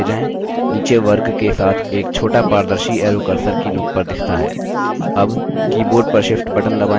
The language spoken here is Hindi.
नीचे वर्ग के साथ एक छोटा पारदर्शी arrow cursor की नोक पर दिखता है